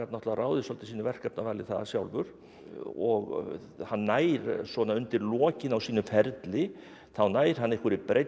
ráðið svolítið sínu verkefnavali þar sjálfur og hann nær svona undir lokin á sínum ferli þá nær hann einhverri breidd